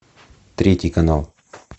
третий канал